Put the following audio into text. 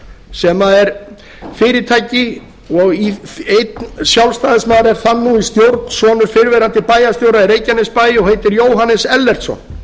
sem er fyrirtæki og einn sjálfstæðismaður er þar nú í stjórn sonur fyrrverandi bæjarstjóra í reykjanesbæ og heitir jóhannes ellertsson